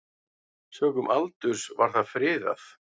Sökum aldurs var það friðað.